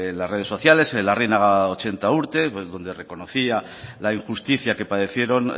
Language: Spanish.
las redes sociales el larrinaga ochenta urte donde reconocía la injusticia que padecieron